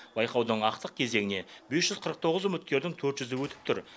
байқаудың ақтық кезеңіне бес жүз қырық тоғыз үміткердің төрт жүзі өтіп тұр